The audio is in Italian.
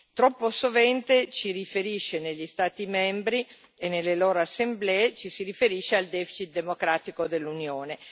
Troppo sovente negli Stati membri e nelle loro assemblee ci si riferisce al deficit democratico dell'Unione